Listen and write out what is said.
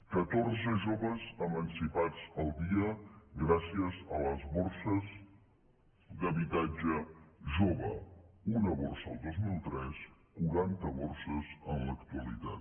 catorze joves emancipats al dia gràcies a les borses d’habitatge jove un borsa el dos mil tres quaranta borses en l’actualitat